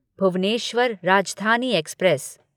Bhubaneswar Rajdhani express